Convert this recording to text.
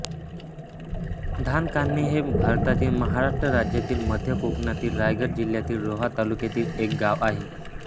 धानकान्हे हे भारतातील महाराष्ट्र राज्यातील मध्य कोकणातील रायगड जिल्ह्यातील रोहा तालुक्यातील एक गाव आहे